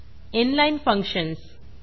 inline inline functions